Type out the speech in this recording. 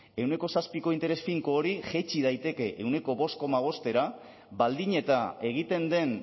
ehuneko zazpiko interes finko hori jaitsi daiteke ehuneko bost koma bostera baldin eta egiten den